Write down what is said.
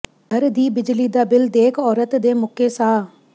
ਘਰ ਦੀ ਬਿਜਲੀ ਦਾ ਬਿੱਲ ਦੇਖ ਔਰਤ ਦੇ ਮੁੱਕੇ ਸਾਹ